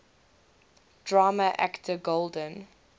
drama actor golden